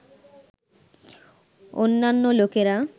অন্যান্য লোকেরা